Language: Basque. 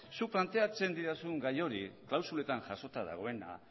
zuk planteatzen didazun gai hori klausuletan jasota dagoena